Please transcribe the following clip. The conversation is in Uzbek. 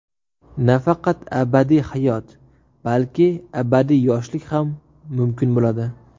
Nafaqat abadiy hayot, balki abadiy yoshlik ham mumkin bo‘ladi.